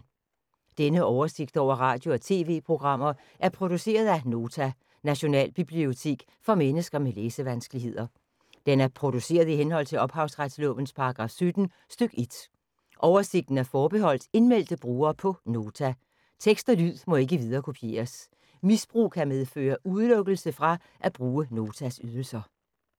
Denne oversigt over radio og TV-programmer er produceret af Nota, Nationalbibliotek for mennesker med læsevanskeligheder. Den er produceret i henhold til ophavsretslovens paragraf 17 stk. 1. Oversigten er forbeholdt indmeldte brugere på Nota. Tekst og lyd må ikke viderekopieres. Misbrug kan medføre udelukkelse fra at bruge Notas ydelser.